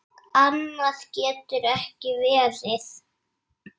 Annað getur ekki verið.